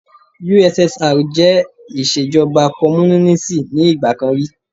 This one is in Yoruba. USSR jẹ́ ìṣèjọba Kọ́múnínísì ni ìgbà kan rí.